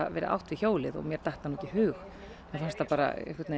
átt við hjólið og mér datt það ekki í hug mér fannst það bara